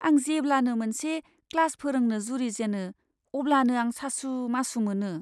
आं जेब्लानो मोनसे क्लास फोरोंनो जुरिजेनो अब्लानो आं सासु मासु मोनो।